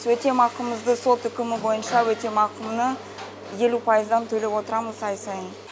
өтемақымызды сот үкімі бойынша елу пайыздан төлеп отырамыз ай сайын